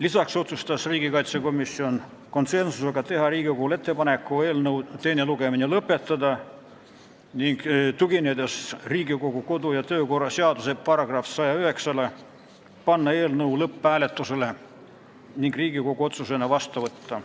Lisaks otsustas komisjon konsensusega teha ettepaneku eelnõu teine lugemine lõpetada ning tuginedes Riigikogu kodu- ja töökorra seaduse §-le 109, panna eelnõu lõpphääletusele ning Riigikogu otsusena vastu võtta.